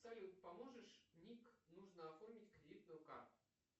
салют поможешь ник нужно оформить кредитную карту